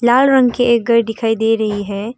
लाल रंग के एक घर दिखाई दे रही है।